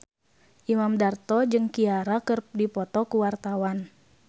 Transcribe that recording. Imam Darto jeung Ciara keur dipoto ku wartawan